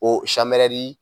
O samɛrɛri